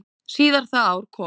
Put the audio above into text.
Síðar það ár kom